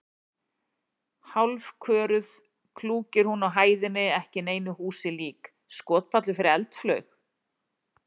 Hálfköruð klúkir hún á hæðinni ekki neinu húsi lík: skotpallur fyrir eldflaug?